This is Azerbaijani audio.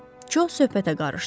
Co söhbətə qarışdı.